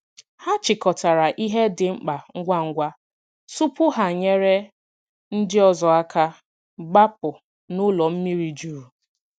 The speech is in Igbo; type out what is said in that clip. Hà chịkọtarà ihe dị mkpa ngwa ngwa tupu ha nyere ndị ọzọ aka gbapụ̀ n’ụlọ mmiri jurù.